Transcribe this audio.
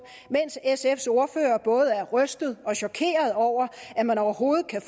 mens sfs ordfører er både rystet og chokeret over at man overhovedet kan